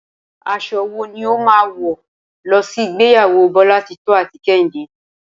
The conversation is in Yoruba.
Aso̩ wo ni o máa wò̩ lo̩ sí ìgbéyàwó Bólátitó àti Kehíndé?